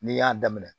N'i y'a daminɛ